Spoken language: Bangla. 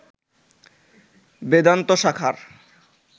বেদান্ত শাখার